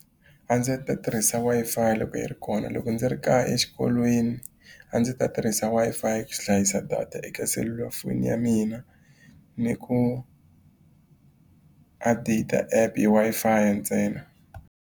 A ndzi ta tirhisa Wi-Fi loko yi ri kona. Loko ndzi ri kaya, exikolweni, a ndzi ta tirhisa Wi-Fi ku hlayisa data eka selulafoni ya mina ni ku hi Wi-Fi ntsena.